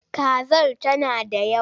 Kazar tana da yawa?